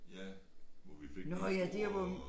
Ja hvor vi fik den store